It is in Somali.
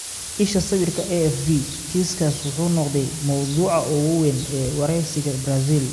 Isha sawirka, AFP. Kiiskaas wuxuu noqday mowduuca ugu weyn ee wargeysyada Brazil.